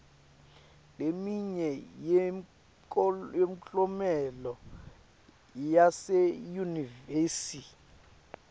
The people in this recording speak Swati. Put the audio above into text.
leminye yemklomelo yaseyunivesi